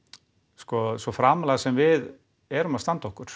sko svo framarlega sem við erum að standa okkur